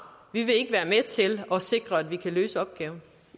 vi vil ikke være med til at sikre at vi kan løse opgaven